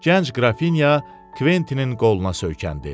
Gənc Qrafinya Kventinin qoluna söykəndi.